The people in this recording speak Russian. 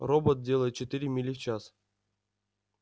робот делает четыре мили в час